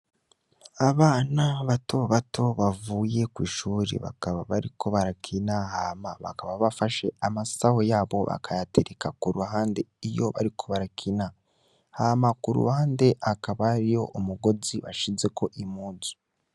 Abana bato bato bavuye kwishure bakaba bariko barakina hama bakaba bafashe amasaho yabo bakayatereka kuruhande iyo bariko barakina, hama kuruhande hakaba hariho umugozi bashizeko impuzu.